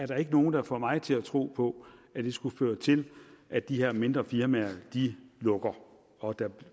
der ikke nogen der får mig til at tro på at det skulle føre til at de her mindre firmaer lukker og at der